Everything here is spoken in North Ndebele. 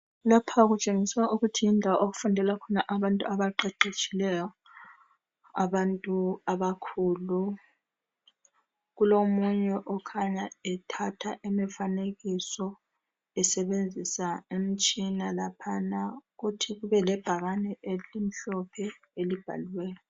Lapha kutshengisa ukuthi yindawo okufundela khona abantu abaqeqetshayo abantu abakhulu. Kulomunye okhanya ethatha imifanekiso esebenzisa imitshina laphana, kuthi kubelebhakani elimhlophe elibhaliweyo.